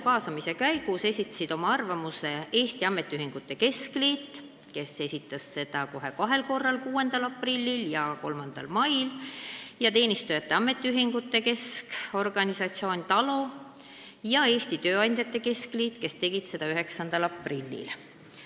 Kaasamise käigus esitasid oma arvamuse Eesti Ametiühingute Keskliit, kes esitas selle kohe kahel korral, 6. aprillil ja 3. mail, Teenistujate Ametiliitude Keskorganisatsioon TALO ja Eesti Tööandjate Keskliit, kes tegid seda 9. aprillil.